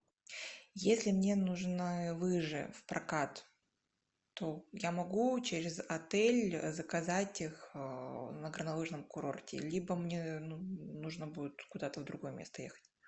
если мне нужны лыжи в прокат то я могу через отель заказать их на горнолыжном курорте либо мне нужно будет куда то в другое место ехать